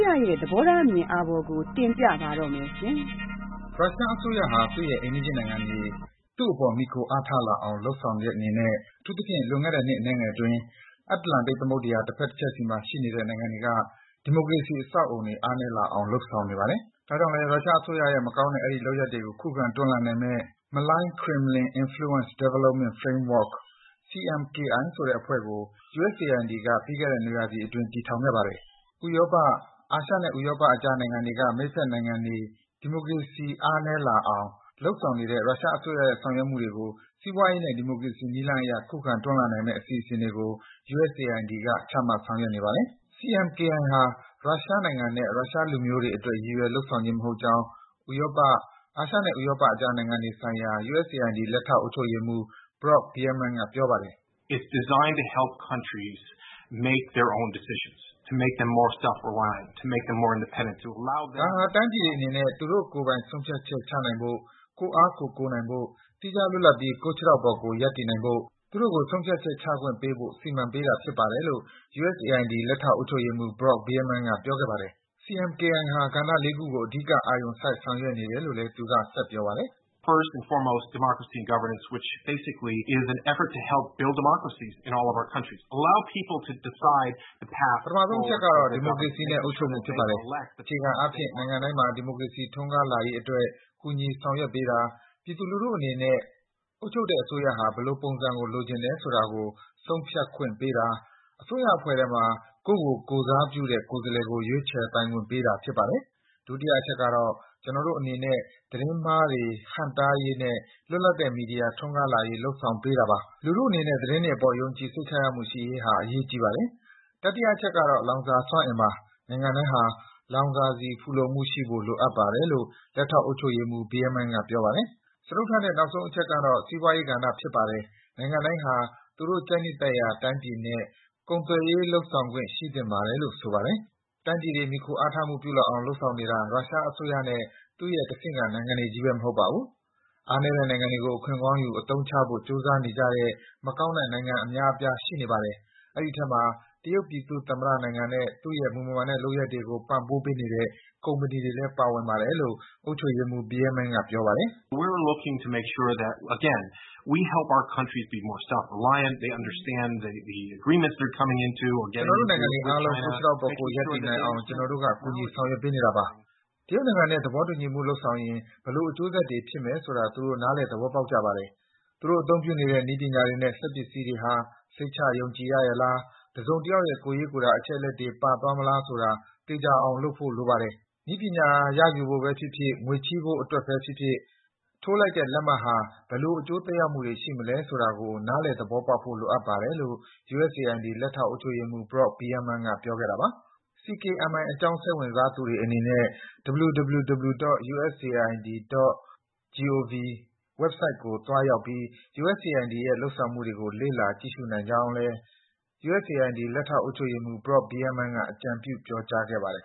ရရဲ့ သဘောထားအမြင်အာဘော်ကို တင်ပြပါမယ်။ ရုရှားအစိုးရဟာ သူ့ရဲ့ အိမ်နီးချင်းနိုင်ငံတွေ သူ့အပေါ် မှီခိုအားထားလာအောင် လုပ်ဆောင်တဲ့အနေနဲ့ အထူးသဖြင့် လွန်ခဲ့တဲ့ နှစ်အနည်းငယ်အတွင်း အတ္တလန္တိတ်သမုဒ္ဒရာ တဖက်တချက်စီမှာရှိနေတဲ့နိုင်ငံတွေက ဒီမိုကရက်တစ် အဆောက်အဦးတွေ အားနည်းလာအောင် လုပ်ဆောင်နေပါတယ်။ ဒါကြောင့်လည်း ရုရှားအစိုးရရဲ့ မရိုးသားတဲ့ အဲဒီလုပ်ရပ်တွေကို ခုခံ တွန်းလှန်နိုင်မယ့် Malign Kremlin Influence Development Framework ဆိုတဲ့အဖွဲ့ကို USAID က ပြီးခဲ့တဲ့ နွေရာသီအတွင်း တည်ထောင်ခဲ့ပါတယ်။ ဥရောပ၊ အာရှနဲ့ဥရောပအကြားက မိတ်ဖက်နိုင်ငံတွေက ဒီမိုကရေစီစနစ်တွေ အားနည်းလာအောင် လုပ်ဆောင်နေတဲ့ ရုရှားအစိုးရရဲ့ ဆောင်ရွက်မှုတွေကို စီးပွားရေးနဲ့ ဒီမိုကရက်တစ်နည်းလမ်းအရ ခုခံ တွန်းလှန်နိုင်မယ့် အစီအစဉ်တွေကို USAID က ချမှတ် ဆောင်ရွက်နေပါတယ်။ CMKI ဟာ ရုရှားနိုင်ငံနဲ့ ရုရှားလူမျိုးတွေအတွက် ရည်ရွယ် လုပ်ဆောင်ခြင်းမဟုတ်ကြောင်း ဥရောပ၊ အာရှနဲ့ ဥရောပကြားနိုင်ငံတွေဆိုင်ရာ USAID လက်ထောက် အုပ်ချုပ်ရေးမှူး Brock Bierman က ပြောပါတယ်။ “ဒါဟာ တိုင်းပြည်တွေအနေနဲ့ သူတို့ကိုယ်ပိုင် ဆုံးဖြတ်ချနိုင်ဖို့၊ ကိုယ့်အားကိုယ်ကိုးနိုင်ဖို့၊ သီးခြားလွတ်လပ်ပြီး ကိုယ့်ခြေထောက်ပေါ်ကိုယ် ရပ်တည်နိုင်ဖို့၊ သူတို့ကို ဆုံးဖြတ်ချက်ချခွင့်ပေးဖို့ စီမံပေးထားတာဖြစ်ပါတယ်” - လို့ USAID လက်ထောက် အုပ်ချုပ်ရေးမှူး Brock Bierman က ပြောခဲ့ပါတယ်။ CMKI ဟာ ကဏ္ဍ ခုကို အဓိကအာရုံစိုက် ဆောင်ရွက်နေတယ်လို့လည်း သူက ဆက်ပြောပါတယ်။ “ပထမဆုံးအချက်ကတော့ ဒီမိုကရစီနဲ့ အုပ်ချုပ်မှုဖြစ်ပါတယ်။ အခြေခံအားဖြင့် နိုင်ငံတိုင်းမှာ ဒီမိုကရေစီ ထွန်းကားလာရေးအတွက် ကူညီ ဆောင်ရွက်ပေးတာ၊ ပြည်သူလူထုအနေနဲ့ အုပ်ချုပ်တဲ့အစိုးဟာ ဘယ်လိုပုံစံကို လိုချင်တယ်ဆိုတာကို ဆုံးဖြတ်ခွင့်ပေးတာ၊ အစိုးရအဖွဲ့ထဲမှာ ကိုယ့်ကို ကိုယ်စားပြုတဲ့ ကိုယ်စားလှယ်ကို ရွေးချယ်ပိုင်ခွင့်ပေးတာ ဖြစ်ပါတယ်။ ဒုတိယအချက်ကတော့ ကျနော်တို့အနေနဲ့ သတင်းမှားတွေ ဟန့်တားရေးနဲ့ လွတ်လပ်တဲ့ မီဒီယာထွန်းကားလာရေး လုပ်ဆောင်ပေးတာပါတယ်။ လူထုအနေနဲ့ သတင်းတွေအပေါ် ယုံကြည် စိတ်ချရမှု ရှိရေးဟာ အရေးကြီးပါတယ်။ တတိယအချက်ကတော့ လောင်စာစွမ်းအင်ပါ၊ နိုင်ငံတိုင်းဟာ လောင်စာဆီ ဖူလုံမှုရှိဖို့ လိုအပ်ပါတယ်” - လို့ လက်ထောက် အုပ်ချုပ်ရေးမှူး Bierman က ပြောပါတယ်။ စတုတ္ထနဲ့ နောက်ဆုံးအချက်ကတော့ စီးပွားရေးကဏ္ဍ ဖြစ်ပါတယ်၊ နိုင်ငံတိုင်းဟာ သူတို့ကြိုက်နှစ်သက်ရာတိုင်းပြည်နဲ့ ကုန်သွယ်ရေး လုပ်ဆောင်ခွင့် ရှိသင့်ပါတယ် - လို့ ဆိုပါတယ်။ တိုင်းပြည်တွေ မှီခိုအားထားမှုပြုလာအောင် လုပ်ဆောင်နေတာ ရုရှားအစိုးရနဲ့ သူရဲ့ တဆင့်ခံ နိုင်ငံတွေချည်းဘဲ မဟုတ်ပါဘူး။ အားနည်းတဲ့နိုင်ငံတွေကို အခွင့်ကောင်းယူ အသုံးချဖို့ ကြိုးစားနေကြတဲ့ မကောင်းတဲ့နိုင်ငံအများအပြား ရှိနေပါတယ်။ အဲဒီအထဲမှာ တရုတ်ပြည်သူ့သမ္မတနိုင်ငံနဲ့ သူ့ရဲ့ မူမမှန်တဲ့ လုပ်ရပ်တွေကို ပံ့ပိုးပေးနေတဲ့ ကုမ္ပဏီတွေလည်း ပါဝင်တယ်လို့ အုပ်ချုပ်ရေးမှူး Bierman က ပြောပါတယ်။ “ကျနော်တို့နိုင်ငံတွေအားလုံး ကိုယ့်ခြေထောက်ပေါ်ကိုယ်ရပ်တည်နိုင်အောင် ကျနော်တို့က ကူညီ ဆောင်ရွက်ပေးနေတာပါ။ တရုတ်နိုင်ငံနဲ့ သဘောတူညီမှုလုပ်ရင် ဘယ်လို အကျိုးဆက်တွေဖြစ်မယ်ဆိုတာ သူတို့ နားလည် သဘောပေါက်ကြပါတယ်။ သူတို့ အသုံးပြုနေတဲ့ နည်းပညာတွေနဲ့ စက်ပစ္စည်းတွေဟာ စိတ်ချယုံကြည်ရရဲ့လား၊ တစုံတယောက်ရဲ့ ကိုယ်ရေးကိုယ်တာ အချက်အလက်တွေ ပါသွားမလာဆိုတာ သေချာအောင် လုပ်ဆောင်ဖို့ လိုပါတယ်။ နည်းပညာရယူဖို့ဘဲဖြစ်ဖြစ်၊ ငွေချည်းဖို့အတွက်ဘဲဖြစ်ဖြစ် ထိုးလိုက်တဲ့ လက်မှတ်ဟာ ဘယ်လို အကျိုးသက်ရောက်မှုတွေ ရှိမလဲဆိုတာကို နားလည် သဘောပေါက်ဖို့ လိုအပ်ပါတယ်” လို့ USAID လက်ထောက် အုပ်ချုပ်ရေးမှူး Brock Bierman က ပြောခဲ့တာပါ။ CKMI အကြောင်း စိတ်ဝင်စားသူတွေအနေနဲ့ https://www.usaid.gov ဝက်ဆိုက်ကိုသွားရောက်ပြီး USAID ရဲ့ လုပ်ဆောင်မှုတွေကို လေ့လာ ကြည့်ရှုနိုင်ကြောင်းလည်း USAID လက်ထောက် အုပ်ချုပ်ရေးမှူး Brock Bierman က အကြံပြု ပြောကြားခဲ့ပါတယ်